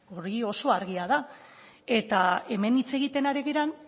hori oso argia da eta hemen hitz egiten ari diren